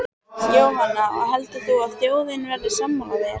Jóhanna: Og heldur þú að þjóðin verði sammála þér?